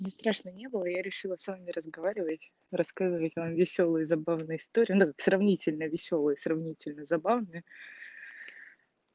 мне страшно не было я решила с вами разговаривать рассказывать вам весёлые забавные истории ну сравнительно весёлые сравнительно забавные